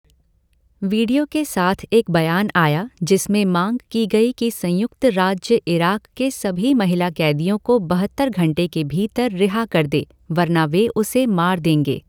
Video के साथ एक बयान आया जिसमें मांग की गई कि संयुक्त राज्य इराक़ के सभी महिला कैदियों को बहत्तर घंटे के भीतर रिहा कर दे वरना वे उसे मार देंगे।